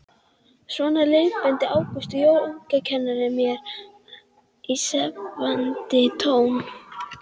Kirkjunnar þjóna jafnt sem veraldlegra höfðingja í öðrum landsfjórðungum.